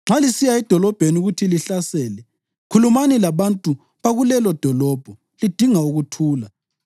Nxa lisiya edolobheni ukuthi lihlasele, khulumani labantu bakulelodolobho lidinga ukuthula.